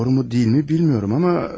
Doğru mu, deyil mi bilmirəm amma.